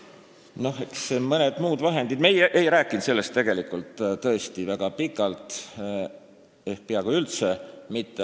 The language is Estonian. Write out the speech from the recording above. Need "mõned muud vahendid" ... Meie ei rääkinud põhiseaduskomisjoni arutelus sellest tõesti väga pikalt ehk peaaegu üldse mitte.